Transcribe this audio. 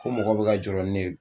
Ko mɔgɔ be ka jɔrɔ ni ne ye